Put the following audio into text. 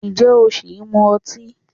Ǹjẹ́ o ṣì ń mu ọtí?